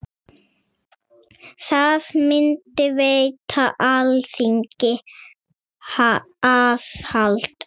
Það myndi veita Alþingi aðhald.